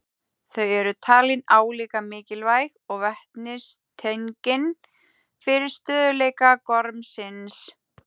Þau eru talin álíka mikilvæg og vetnistengin fyrir stöðugleika gormsins.